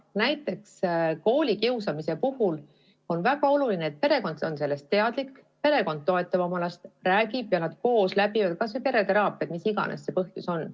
Näiteks koolikiusamise puhul on väga oluline, et perekond oleks sellest teadlik, perekond toetaks oma last, räägiks temaga ja et nad koos teeksid läbi kas või pereteraapia, mis iganes see põhjus on.